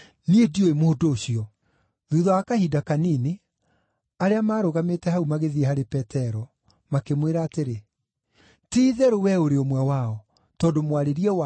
Thuutha wa kahinda kanini, arĩa maarũgamĩte hau magĩthiĩ harĩ Petero, makĩmwĩra atĩrĩ, “Ti-itherũ wee ũrĩ ũmwe wao, tondũ mwarĩrie waku nĩũrakumbũra.”